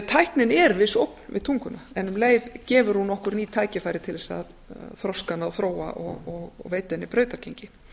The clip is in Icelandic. tæknin er viss ógn við tunguna en um leið gefur hún okkur ný tækifæri til þess að þroska hana og þróa og veita henni brautargengi